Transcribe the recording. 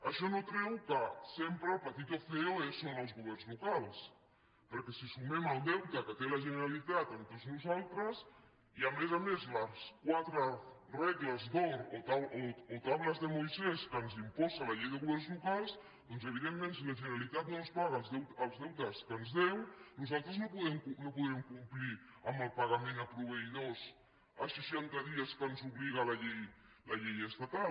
això no treu que sempre el patito feolocals perquè si sumem el deute que té la generalitat amb tots nosaltres i a més a més les quatre regles d’or o tablaslocals doncs evidentment si la generalitat no ens paga els deutes que ens deu nosaltres no podrem complir amb el pagament a proveïdors a seixanta dies que ens obliga la llei la llei estatal